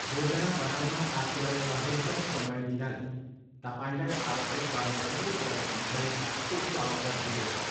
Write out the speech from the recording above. योजना बनाउन आफूलाई अधिकतम समय दिनाले तपाईँलाई आवश्यक पर्ने सबै कुरा सम्झने उच्च अवसर दिनेछ।